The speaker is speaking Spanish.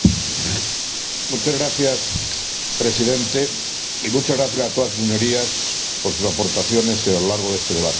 Señor Presidente, muchas gracias a todas sus Señorías por sus aportaciones a lo largo de este debate.